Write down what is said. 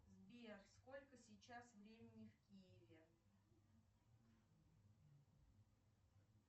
сбер сколько сейчас времени в киеве